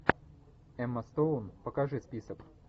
эмма стоун покажи список